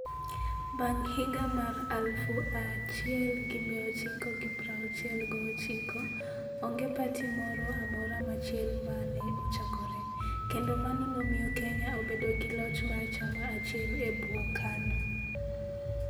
Bang ' higa mar 1969, onge pati moro amora machielo ma ne ochakore, kendo mano nomiyo Kenya obedo gi loch mar chama achiel e bwo KANU.